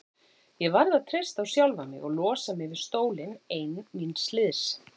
Ég varð að treysta á sjálfa mig og losa mig við stólinn ein míns liðs.